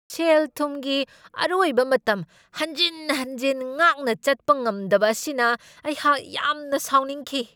ꯁꯦꯜ ꯊꯨꯝꯒꯤ ꯑꯔꯣꯏꯕ ꯃꯇꯝ ꯍꯟꯖꯤꯟ ꯍꯟꯖꯤꯟ ꯉꯥꯛꯅ ꯆꯠꯄ ꯉꯝꯗꯕ ꯑꯁꯤꯅ ꯑꯩꯍꯥꯛ ꯌꯥꯝꯅ ꯁꯥꯎꯅꯤꯡꯈꯤ꯫